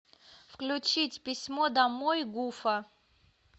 включить письмо домой гуфа